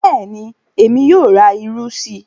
Bẹ́ẹ̀ni, Èmi yóò rà ìrù sí.